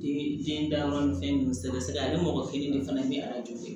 Ni biyɛn dayɔrɔ ni fɛn ninnu sɛbɛ a ye mɔgɔ kelen de fana ye ni arajo ye